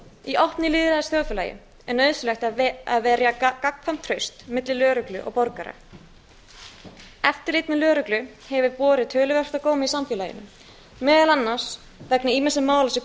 í landinu í opnu lýðræðisþjóðfélagi er nauðsynlegt að verja gagnkvæmt traust milli lögreglu og borgara eftirlit með lögreglu hefur borið töluvert á góma í samfélaginu meðal annars vegna ýmissa mála sem